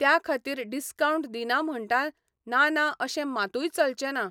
त्या खातीर डिस्कावंट दिना म्हणटा ना ना अशें मातूय चलचें ना.